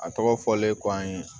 A tɔgɔ fɔlen kɔ an ye